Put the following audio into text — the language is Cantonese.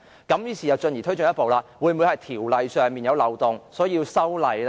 於是又推進一步，是否條例上存在漏洞而需要修例？